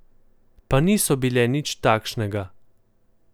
Pa niso bile nič takšnega.